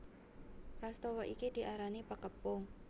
Prastawa iki diarani Pakepung